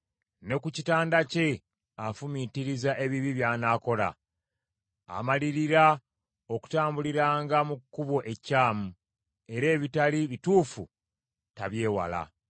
Ne ku kitanda kye afumiitiriza ebibi by’anaakola; amalirira okutambuliranga mu kkubo ekyamu, era ebitali bituufu tabyewala.